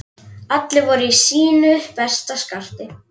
Allir voru í sínu besta skarti.